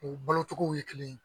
O balocogow ye kelen ye